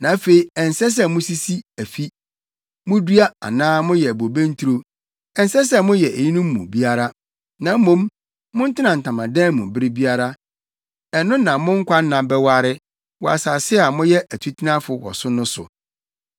Na afei ɛnsɛ sɛ musisi afi, mudua anaa moyɛ bobe nturo, ɛnsɛ sɛ moyɛ eyinom mu biara, na mmom montena ntamadan mu bere biara. Ɛno na mo nkwanna bɛware, wɔ asase a moyɛ atutenafo wɔ so no so.’